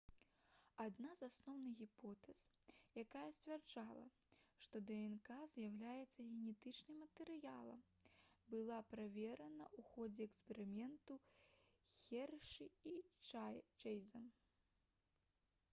адна з асноўных гіпотэз якая сцвярджала што днк з'яўляецца генетычным матэрыялам была праверана ў ходзе эксперыменту хершы і чэйза